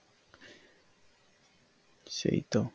সেই তো